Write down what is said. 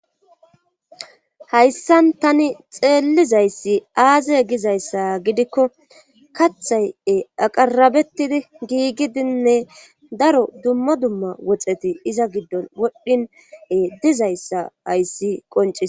hayssan tani xeellizayssi aaziye gizayssa gidikko kathay7e aqarabettidi giigidinne daro dumma dumma woxeti iza giddon wodhdhine dizayssa hayssi qonciee